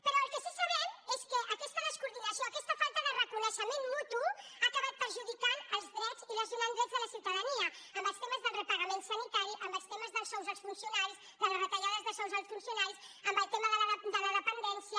però el que sí que sabem que aquesta descoordinació aquesta falta de reconeixement mutu ha acabat perjudicant els drets i lesionant drets de la ciutadania en el tema del repagament sanitari en el tema dels sous als funcionaris de les retallades de sous als funcionaris en el tema de la dependència